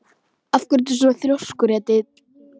Af hverju ertu svona þrjóskur, Edil?